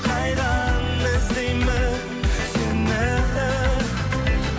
қайдан іздеймін сені